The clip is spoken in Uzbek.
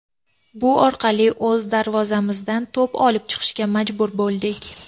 Bu orqali o‘z darvozamizdan to‘p olib chiqishga majbur bo‘ldik.